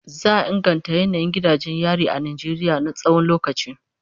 Za a inganta yanayin gidajen yari a Najeriya na tsawon lokaci.